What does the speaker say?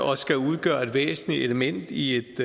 og skal udgøre et væsentligt element i et